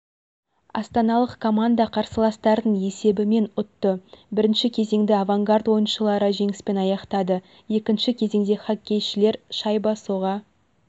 астаналық команда қарсыластарын есебімен ұтты бірінші кезеңді авангард ойыншылары жеңіспен аяқтады екінші кезеңде хоккейшілер шайба соға